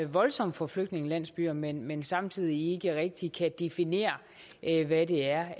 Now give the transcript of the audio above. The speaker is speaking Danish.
voldsomt for flygtningelandsbyer men men samtidig ikke rigtig kan definere hvad det er